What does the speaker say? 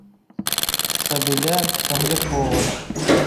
сабиля комлякова